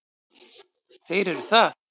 Þeir eru það.